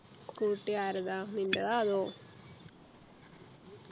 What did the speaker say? Scooty ആരതാ നിൻ്റെതാ അതോ